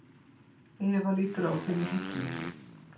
Eva lítur á þau með hryllingi.